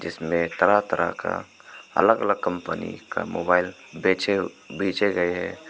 इसमें तरह तरह का अलग अलग कंपनी का मोबाइल बेचे बीचे गए है।